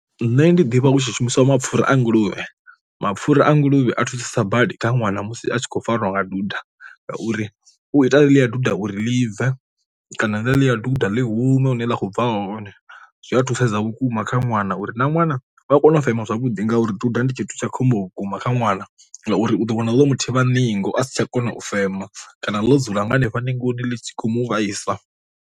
Nṋe ndi ḓivha hu tshi shumiswa mapfhura a nguluvhe, mapfhura a nguluvhe a thusa badi kha ṅwana musi a tshi khou farwa nga duda ngauri u ita ḽi a duda uri ḽi bve kana ḽi a duda ḽi hume hune wa kho bva hone, zwi a thusesa vhukuma kha ṅwana uri na ṅwana vha kone u fema zwavhudi ngauri ṱoḓa ndi tshithu tsha khombo vhukuma kha ṅwana, ngauri u ḓo wana ḽo mu thivha ningo a si tsha kona u fema kana ḽo dzula nga hanefha ningoni ḽi tshi khou mu vhaisa.